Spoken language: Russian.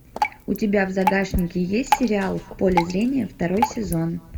у тебя в загашнике есть сериал в поле зрения второй сезон